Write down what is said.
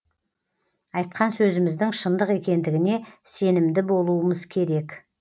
айтқан сөзіміздің шындық екендігіне сенімді болуымыз керек